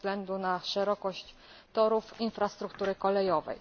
ze względu na szerokość torów, infrastruktury kolejowej.